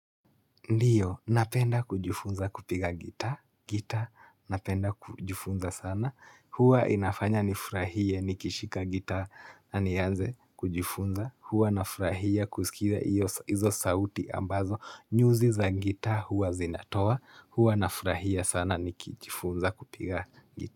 Ndiyo, napenda kujifunza kupiga gita, gita Napenda kujifunza sana Huwa inafanya nifurahie nikishika gitaa, na nianze kujifunza, huwa nafurahia kusikia hiyo, hizo sauti ambazo nyuzi za gitaa huwa zinatoa, huwa nafurahia sana nikijifunza kupiga gitaa.